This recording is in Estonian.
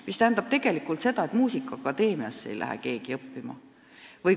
See tähendab tegelikult seda, et muusikaakadeemiasse ei lähe keegi koorijuhtimist õppima.